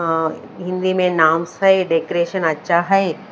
अ हिन्दी में नाम्स है डेकोरेशन आच्छा हैं।